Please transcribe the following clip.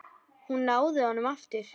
Hún náði honum aftur.